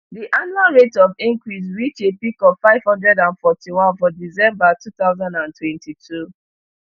di annual rate of increase reach a peak of five hundred and forty-one for december two thousand and twenty-two